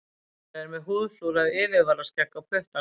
Brynjar er með húðflúrað yfirvaraskegg á puttanum.